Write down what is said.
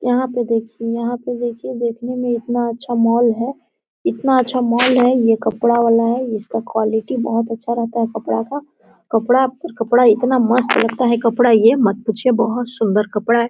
यहां पे देखिये यहां पे देखिये। देखने में इतना अच्छा मॉल है। इतना अच्छा मॉल है। यह कपडा वाला है। इसका क्वालिटी बहुत अच्छा रहता है कपड़ा का। कपडा कपड़ा इतना मस्त रहता है। कपड़ा। यह मत पूछिये। बहुत सुंदर कपड़ा है।